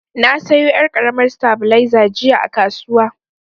Na sayo yar' karamar tabileza jiya a kasuwa.